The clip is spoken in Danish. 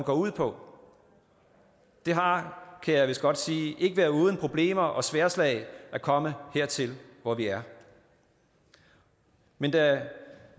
går ud på det har kan jeg vist godt sige ikke været uden problemer og sværdslag at komme hertil hvor vi er men da